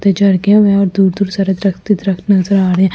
दुर दुर सरक दरक्त हि दरक्त नजर आ रही है ।